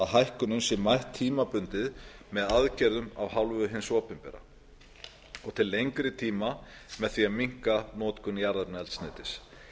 hækkunum sé mætt tímabundið með aðgerðum af hálfu hins opinbera og til lengri tíma með því að minnka notkun jarðefnaeldsneytis